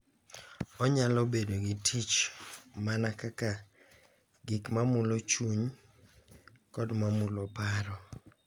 Onyalo bedo gi tich mana kaka gik ma mulo chuny kod ma mulo paro.